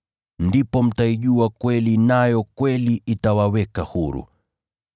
Ndipo mtaijua kweli nayo kweli itawaweka huru.”